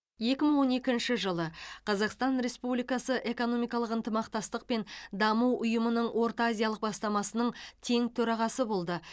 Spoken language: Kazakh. екі мың он екінші жылы қазақстан республикасы экономикалық ынтымақтастық пен даму ұйымының орта азиялық бастамасының тең төрағасы болды